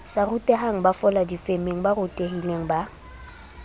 sa rutehangbafola difemeng ba rutehilengba